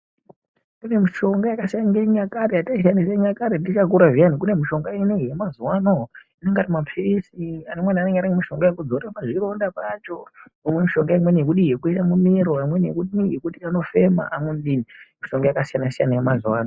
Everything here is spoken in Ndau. Kune mishonga yakasiya yekare yataishandisa chinyakare tichakura zviyani. Kune mishonga ine yemazuwa anenge ari mapirisi. Amweni anenge ane mushonga yekuzorera pazvironda pacho. Pane mishonga yekudii yekuisa mumiro, amweni anenge ane yekuti anofema. Mishonga yakasiyana siyana yemazuwa ano.